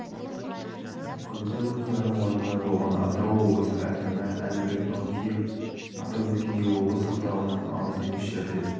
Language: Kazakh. қазба жұмыстарының орнында болған атырау облысының әкімі әлібек наутиев атап өткендей облыс орталығынан алыс емес жерде